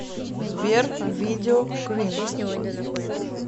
сбер видео квин